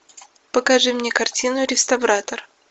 покажи мне картину реставратор